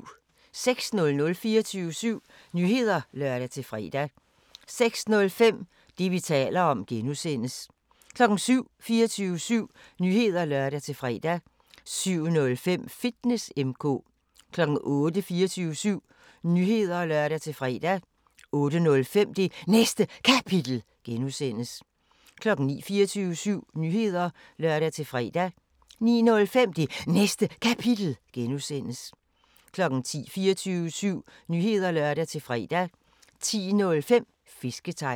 06:00: 24syv Nyheder (lør-fre) 06:05: Det, vi taler om (G) 07:00: 24syv Nyheder (lør-fre) 07:05: Fitness M/K 08:00: 24syv Nyheder (lør-fre) 08:05: Det Næste Kapitel (G) 09:00: 24syv Nyheder (lør-fre) 09:05: Det Næste Kapitel (G) 10:00: 24syv Nyheder (lør-fre) 10:05: Fisketegn